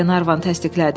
Glenarvan təsdiqlədi.